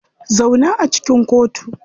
Zauna a cikin kotu.